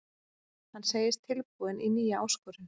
Hann segist tilbúinn í nýja áskorun.